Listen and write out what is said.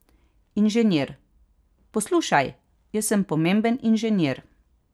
Inženir: 'Poslušaj, jaz sem pomemben inženir.